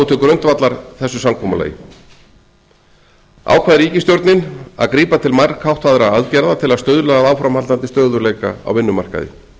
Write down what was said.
til grundvallar þessu samkomulagi ákvað ríkisstjórnin að grípa til margháttaðra aðgerða til að stuðla að áframhaldandi stöðugleika á vinnumarkaði